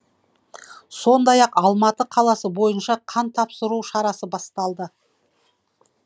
сондай ақ алматы қаласы бойынша қан тапсыру шарасы басталды